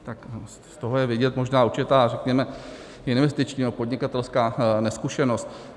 Tak z toho je vidět možná určitá, řekněme, investiční a podnikatelská nezkušenost.